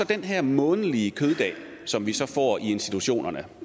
den her månedlige køddag som vi så får i institutionerne